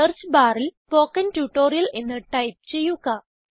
search ബാറിൽ spoken tutorial എന്ന് type ചെയ്യുക